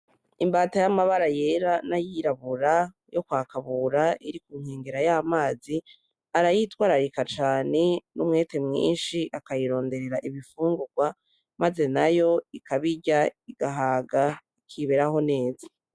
Imbata yamabara yera n'ayirabura yokwa Kabura iri ku nkengera yamazi arayitwararika cane ,n'umwete mwinshi akayironderera ibifungugwa, maze nayo ikabirya igahaga ikiberaho neza.